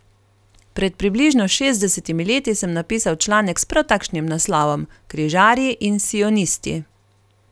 Pred približno šestdesetimi leti sem napisal članek s prav takšnim naslovom: 'Križarji in sionisti'.